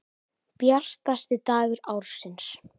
Bjartasti dagur ársins.